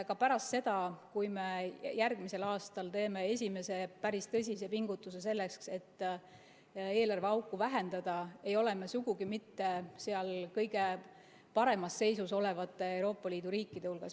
Ka pärast seda, kui me järgmisel aastal teeme esimese päris tõsise pingutuse selleks, et eelarveauku vähendada, ei ole me sugugi mitte kõige paremas seisus olevate Euroopa Liidu riikide hulgas.